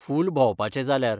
फूल भोंवपाचें जाल्यार.